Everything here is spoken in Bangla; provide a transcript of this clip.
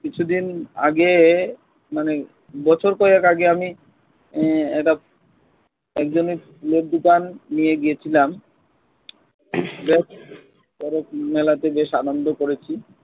কিছুদিন আগে মানে বছর কয়েক আগে আমি আহ একটা একজনের দোকান নিয়ে গিয়েছিলাম যা হোক চড়ক মেলাতে বেশ আনন্দ করেছি।